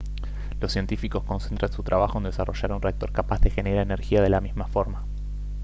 los científicos concentran su trabajo en desarrollar un reactor capaz de generar energía de la misma forma